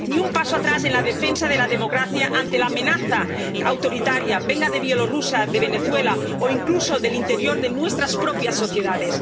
Ni un paso atrás en la defensa de la democracia ante la amenaza autoritaria, venga de Bielorrusia, de Venezuela o incluso del interior de nuestras propias sociedades.